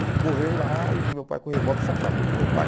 Ele correu lá e viu meu pai com o revólver e se atracou com meu pai.